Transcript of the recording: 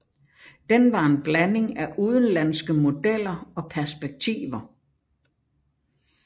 Den var en blanding af udenlandske modeller og perspektiver